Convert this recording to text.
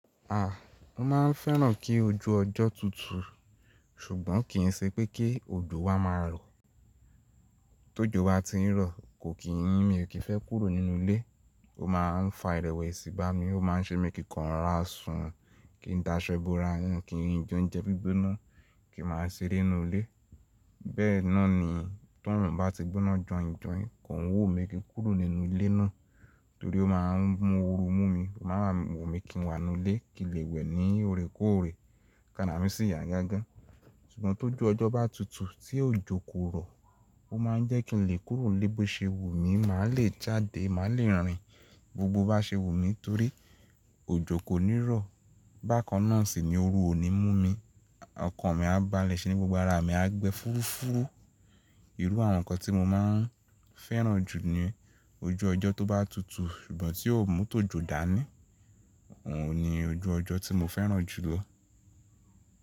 A! Mo máa ń fẹ́ràn kí ojú ọjọ́ tutù, ṣùgbọ́n kìí ṣe pé kí òjò wa máa rọ. Tójò ba ti ń rọ, kò kí ń mi o kìí fẹ́ kúrò nínú ilé. Ó máa ń fa ìrẹ̀wẹ̀sì bá mi, ó máa ń ṣemi kíǹ kò ra ra sun, kí n daṣọ bora, nínú kí n jẹ oúnjẹ gbígbóná, kí màá ṣeré nínú ilé. Bẹ́ẹ̀ náà ni, tó orun bá ti gbóná jọi jói, ko ń wùnmí kí ń kúrò nínú ilé náà, torí ó máa ń mú oru mú mi. Ó máa wùnmi kí n wà nínú ilé, kí lè wẹ̀ ní òrèkóòrè, kàrá mi sì yà gágá. Ṣùgbọ́n tó ju ọjọ́ bá tutù, tí òjò kò rọ, ó máa ń jẹ́ kí n lè kúrò nílé bó ṣe wùmí, màá lè jáde, màá lè rìn gbogbo bá ṣe wùmí torí òjò kò ní rọ. Bákannáà sì ni oru ò ní mú mi, ọkàn mi á balẹ̀, ṣe ni gbogbo ara mi á gbẹ́ fúrúfúrú. Ìrú àwọn nǹkan tí mo máa ń fẹ́ràn jù ni yen ojú ọjọ́ tó bá tutù, ṣùgbọ́n tí ò mú tójò dání, òun ni ojú ọjọ́ tí mo fẹ́ràn jù lọ.